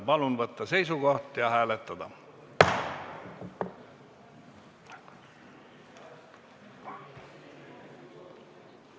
Palun võtta seisukoht ja hääletada!